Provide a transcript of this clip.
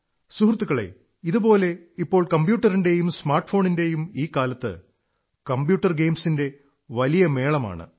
സുഹൃത്തുക്കളേ ഇതുപോലെ ഇപ്പോൾ കമ്പ്യൂട്ടറിന്റെയും സ്മാർട്ഫോണിന്റെയും ഈ കാലത്ത് കമ്പ്യൂട്ടർ ഗെയിംസിന്റെ വലിയ മേളമാണ്